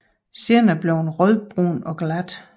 Senere bliver den rødbrun og glat